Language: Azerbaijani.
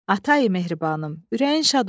Atayi mehribanım, ürəyin şad olsun.